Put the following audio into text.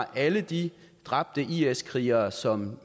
alle de dræbte is krigere som